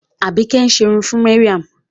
Àbíkẹ́ ń ṣerun fún Mariam.